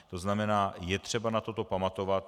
To znamená, je třeba na toto pamatovat.